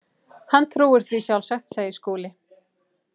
Hann trúir því sjálfsagt, segir Skúli.